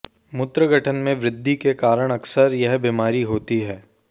मूत्र गठन में वृद्धि के कारण अक्सर यह बीमारी होती है